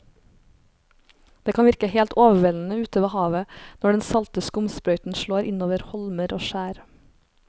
Det kan virke helt overveldende ute ved havet når den salte skumsprøyten slår innover holmer og skjær.